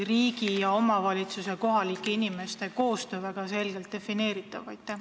Riigi ja omavalitsuse, kohalike inimeste koostöö peaks olema väga selgelt defineeritud.